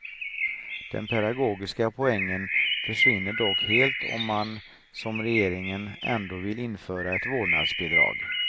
Den pedagogiska poängen försvinner dock helt om man, som regeringen, ändå vill införa ett vårdnadsbidrag.